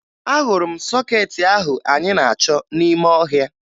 Ahụrụ m sọkeetị ahụ anyị na-achọ n'ime ọhịa